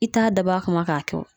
I t'a dabɔ a kama k'a kɛ wo